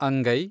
ಅಂಗೈ